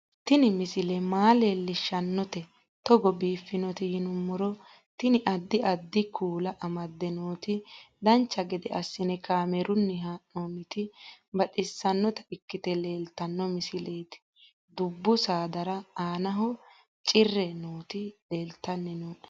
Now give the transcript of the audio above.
Tini misile maa leellishshannote togo biiffinoti yinummoro tini. addi addi kuula amadde nooti dancha gede assine kaamerunni haa'noonniti baxissannota ikkite leeltanno misileeti dbbu saadara aanaho cirre nooti leeltanni nooe